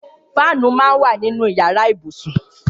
Fànú mà n wà ninú iyàrá ibúsún